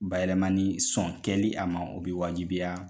Bayɛlɛmani sɔn kɛli a ma o bɛ wajibiya.